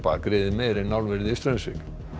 greiðir meira en álverið í Straumsvík